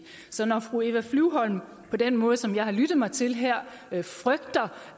så når fru eva flyvholm på den måde som jeg har lyttet mig til her frygter